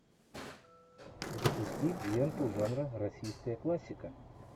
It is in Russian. запусти ленту жанра российская классика